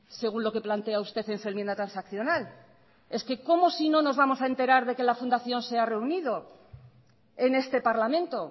según lo que plantea usted en su enmienda transaccional es que cómo si no nos vamos a enterar de que la fundación se ha reunido en este parlamento